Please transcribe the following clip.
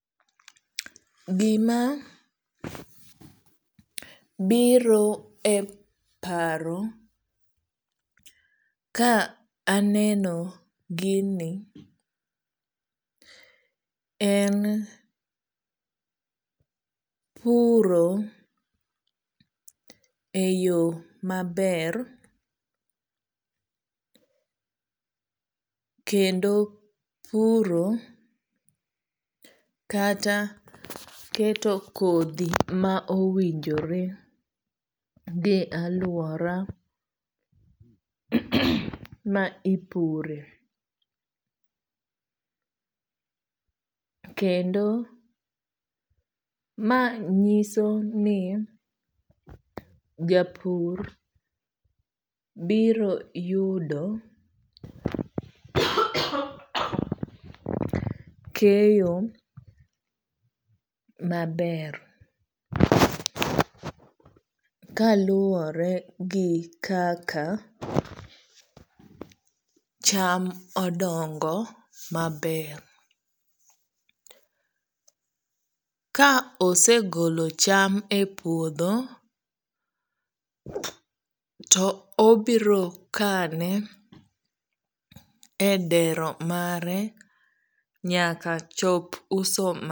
Gima biro e paro ka aneno gini en puro e yo maber. Kendo puro kata keto kodhi ma owinjore gi aluora ma ipure. Kendo ma nyiso ni japur biro yudo keyo maber kaluwore gi kaka cham odongo maber. Ka osegolo cham e puodho to obiro kane e dero mare nyaka chop uso.